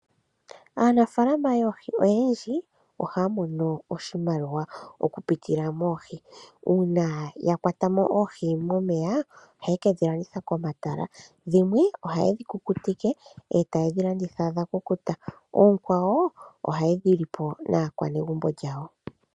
Aanafalama yoohi oyendji ohaya mono oshimaliwa okupitila moohi uuna ya kwata oohi momeya ye kedhi landithe komatala, dhimwe ohaye dhi kukutike e taye dhi landitha dha kukuta. Oonkwawo ohaye dhi li po naakwanegumbo lyawo .